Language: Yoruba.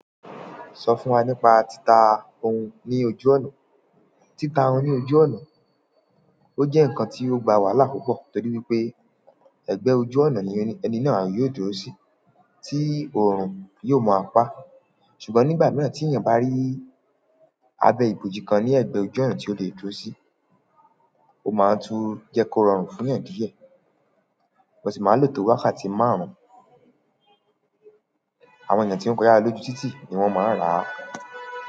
Sọ fún wa nípa títa ohun ní ojú ọ̀nà. Títa ohun ní ojú ọ̀nà, ó jẹ́ ǹkan tí ó gbà wàhálà púpọ̀ torí wípé ẹ̀gbẹ́ ojú ọ̀nà ni ẹni náà yóò dúró sí tí oorun yóò máa pa. Ṣùgbọ́n nígbà mìíràn tí ènìyàn bá rí abẹ́ ibojì kan ní ẹ̀gbẹ́ ojú ọ̀nà tí ó le dúró sí, ó máa ń tún jẹ́ kó rọrùn fún ènìyàn díẹ̀, wọ́n sì máa ń lò tó wákàtí márùn-ún. Àwọn ènìyàn tí ó ń kọyà lọ lójú títì ni wọ́n máa ń rà á.